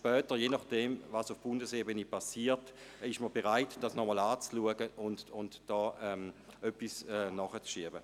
Aber je nach dem, was auf Bundesebene geschieht, ist man bereit, dies nochmals anzuschauen und etwas nachzureichen.